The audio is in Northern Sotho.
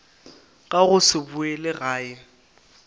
ka go se boele gae